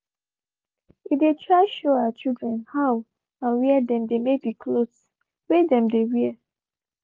we dey try show our children how and where them dey make the clothes whey dem dey wear